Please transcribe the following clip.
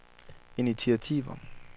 initiativer